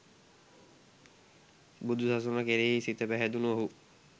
බුදු සසුන කෙරෙහි සිත පැහැදුණු ඔහු